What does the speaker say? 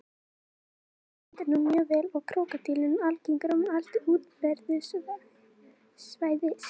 Tegundin stendur nú mjög vel og er krókódíllinn algengur um allt útbreiðslusvæði sitt.